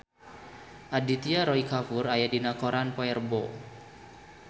Aditya Roy Kapoor aya dina koran poe Rebo